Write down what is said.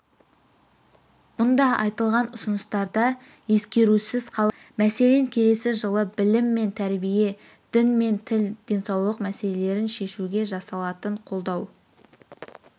мұнда айтылған ұсыныстарда ескерусіз қалып жатқан жоқ мәселен келесі жылы білім мен тәрбие дін мен тіл денсаулық мәселелерін шешуге жасалатын қолдау